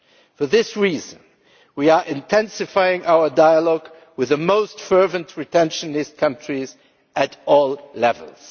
For this reason, we are intensifying our dialogue with the most fervent retentionist countries at all levels.